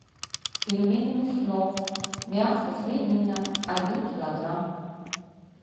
пельмени мяснов мясо свинина один килограмм